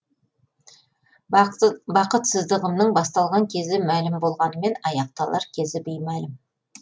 бақытсыздығымның басталған кезі мәлім болғанымен аяқталар кезі беймәлім